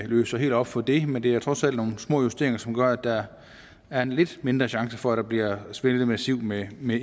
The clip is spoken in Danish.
løser helt op for det men det er trods alt nogle små justeringer som gør at der er en lidt mindre chance for at der bliver svindlet massivt med med